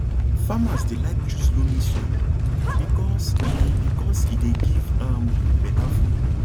farmers dey like choose loamy soil because e because e dey give um better food